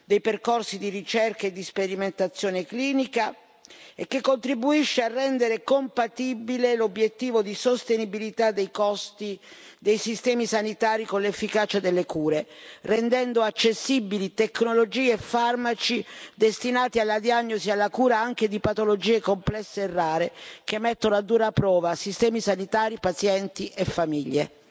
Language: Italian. dei percorsi di ricerca e di sperimentazione clinica e che contribuisce a rendere compatibile l'obiettivo di sostenibilità dei costi dei sistemi sanitari con l'efficacia delle cure, rendendo accessibili tecnologie e farmaci destinati alla diagnosi e alla cura anche di patologie complesse e rare che mettono a dura prova sistemi sanitari, pazienti e famiglie.